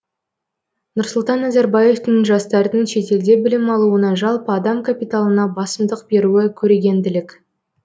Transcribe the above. нұрсұлтан назарбаевтың жастардың шетелде білім алуына жалпы адам капиталына басымдық беруі көрегенділік